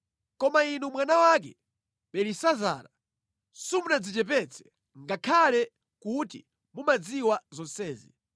“Koma inu mwana wake, Belisazara, simunadzichepetse, ngakhale kuti mumadziwa zonsezi.